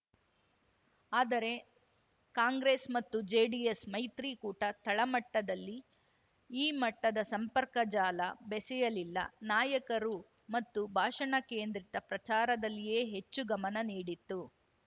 ಆದರೆ ಕಾಂಗ್ರೆಸ್‌ ಮತ್ತು ಜೆಡಿಎಸ್‌ ಮೈತ್ರಿಕೂಟ ತಳಮಟ್ಟದಲ್ಲಿ ಈ ಮಟ್ಟದ ಸಂಪರ್ಕ ಜಾಲ ಬೆಸೆಯಲಿಲ್ಲ ನಾಯಕರು ಮತ್ತು ಭಾಷಣ ಕೇಂದ್ರಿತ ಪ್ರಚಾರದಲ್ಲಿಯೇ ಹೆಚ್ಚು ಗಮನ ನೀಡಿತು